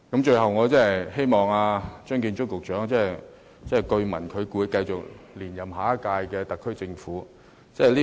最後，我希望張建宗司長......據聞他會在下屆特區政府留任。